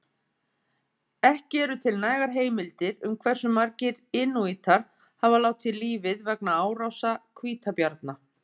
Ekki eru til nægar heimildir um hversu margir inúítar hafa látið lífið vegna árása hvítabjarna.